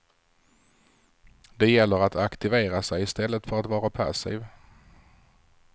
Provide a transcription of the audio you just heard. Det gäller att aktivera sig i stället för att vara passiv.